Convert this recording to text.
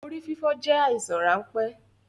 Orí fífọ́ jẹ àìsàn ránpẹ́